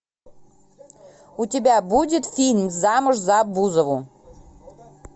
у тебя будет фильм замуж за бузову